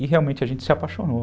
E realmente a gente se apaixonou.